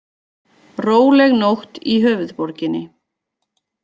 Róleg nótt í höfuðborginni